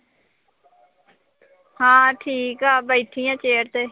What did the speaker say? ਹਾਂ ਠੀਕ ਆ ਬੈਠੀ ਆਂ chair ਤੇ